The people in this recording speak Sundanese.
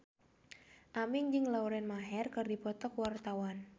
Aming jeung Lauren Maher keur dipoto ku wartawan